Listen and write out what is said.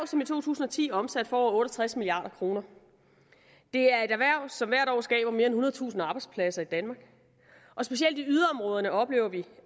som i to tusind og ti omsatte for over otte og tres milliard kroner det er et erhverv som hvert år skaber mere end ethundredetusind arbejdspladser i danmark og specielt i yderområderne oplever vi